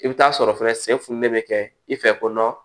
I bɛ taa sɔrɔ fɛnɛ sɛ fununen bɛ kɛ i fɛ ko dɔn